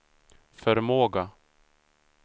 förmåga